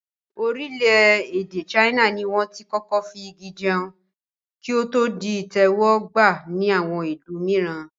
Orílẹ̀-èdè ṣáínà ni wọ́n tí kọ́kọ́ fi Igi jẹun, kí o to di ìtẹ́wọ́ gba ni àwọn ìlú mìíran.